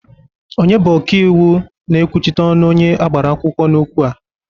Onye bụ oka iwu na-ekwuchite ọnụ onye agbara akwụkwọ n'okwu a.?